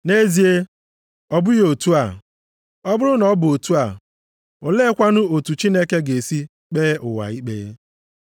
Nʼezie, ọ bụghị otu a, ọ bụrụ na ọ bụ otu a, oleekwanụ otu Chineke ga-esi kpee ụwa ikpe?